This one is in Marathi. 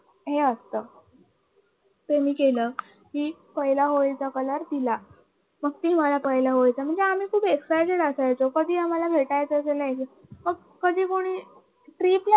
हे असतं ते मी केलं कि पहिला होली होळीचा कलर तिला ती मला पहिलं होळीचा मग आम्ही खूप excited असायचंकधी आम्हाल भेटायचे अस्रेल कधी कुणी ट्रीप ला